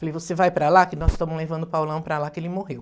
Falei, você vai para lá, que nós estamos levando o Paulão para lá, que ele morreu.